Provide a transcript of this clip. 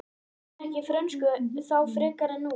Ég kunni ekki frönsku þá frekar en nú.